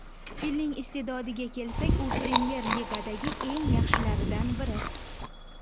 Filning iste’dodiga kelsak, u Premyer Ligadagi eng yaxshilaridan biri.